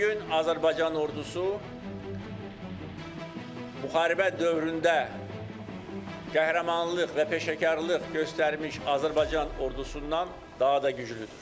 Bu gün Azərbaycan ordusu müharibə dövründə qəhrəmanlıq və peşəkarlıq göstərmiş Azərbaycan ordusundan daha da güclüdür.